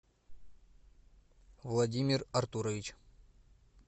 владимир артурович